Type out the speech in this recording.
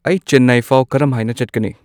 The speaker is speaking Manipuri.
ꯑꯩ ꯆꯦꯟꯅꯥꯏ ꯐꯥꯎ ꯀꯔꯝꯍꯥꯏꯅ ꯆꯠꯀꯅꯤ